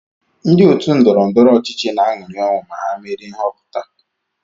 Ndị òtù ndọrọ ndọrọ ọchịchị na-aṅụrị ọṅụ ma ha merie nhọpụta